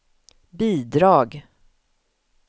bidrag